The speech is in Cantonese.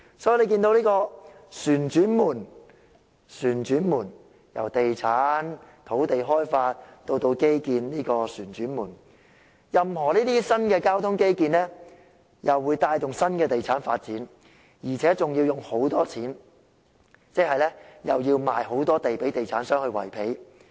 所以，大家看到這個"旋轉門"——在地產、土地開發至基建之間旋轉——任何新的交通基建，又會帶動新的地產發展，而且還要花很多錢，即又要賣大量土地予地產商維持開支。